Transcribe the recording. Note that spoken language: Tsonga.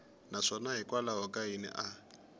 naswona hikwalaho ka yini a